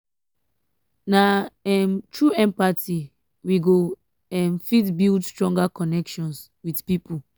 na um through empathy we um go um fit build stronger connections with pipo.